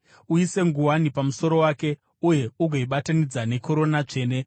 Uise nguwani pamusoro wake uye ugoibatanidza nekorona tsvene.